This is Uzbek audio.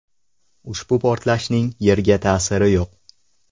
Ushbu portlashning Yerga ta’siri yo‘q.